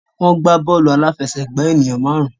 Wọ́n gbà bọ́ọ̀lù aláfẹsẹ̀gbá ènìyàn máàrún.